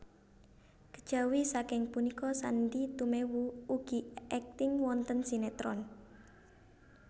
Kejawi saking punika Sandy Tumewu ugi akting wonten sinetron